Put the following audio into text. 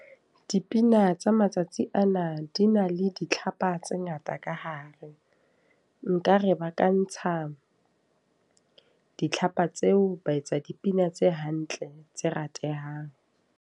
Dipina tsa matsatsi ana di na le ditlhapa tse ngata ka hare. Nka re ba ka ntsha ditlhapa tseo, ba etsa dipina tse hantle tse ratehang.